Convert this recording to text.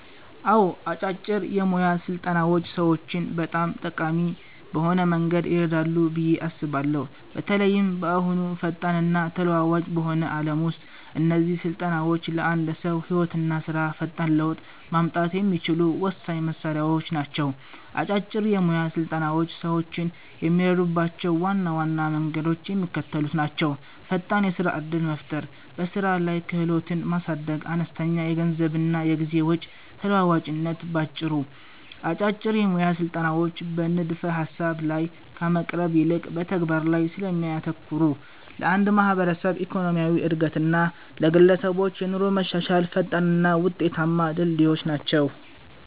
አዎ፣ አጫጭር የሞያ ስልጠናዎች ሰዎችን በጣም ጠቃሚ በሆነ መንገድ ይረዳሉ ብዬ አስባለሁ። በተለይም በአሁኑ ፈጣንና ተለዋዋጭ በሆነው ዓለም ውስጥ እነዚህ ስልጠናዎች ለአንድ ሰው ህይወትና ስራ ፈጣን ለውጥ ማምጣት የሚችሉ ወሳኝ መሣሪያዎች ናቸው። አጫጭር የሞያ ስልጠናዎች ሰዎችን የሚረዱባቸው ዋና ዋና መንገዶች የሚከተሉት ናቸው፦ ፈጣን የስራ ዕድል መፍጠር በስራ ላይ ክህሎትን ማሳደግ አነስተኛ የገንዘብና የጊዜ ወጪ ተለዋዋጭነት ባጭሩ፦ አጫጭር የሞያ ስልጠናዎች በንድፈ-ሐሳብ ላይ ከመቅረት ይልቅ በተግባር ላይ ስለሚያተኩሩ፣ ለአንድ ማህበረሰብ ኢኮኖሚያዊ ዕድገት እና ለግለሰቦች የኑሮ መሻሻል ፈጣንና ውጤታማ ድልድዮች ናቸው።